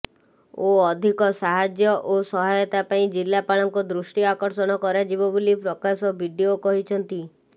ଓ ଅଧିକ ସାହାର୍ଯ୍ୟ ଓ ସହୟତା ପାଇଁ ଜିଲ୍ଲାପାଳଙ୍କ ଦୃଷ୍ଟି ଆକର୍ଷଣ କରାଯିବ ବୋଲି ପ୍ରକାଶ ବିଡିଓ କହିଛନ୍ତି